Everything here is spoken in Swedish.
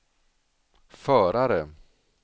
förare